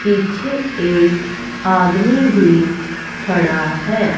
पीछे एक आदमी भी खड़ा है।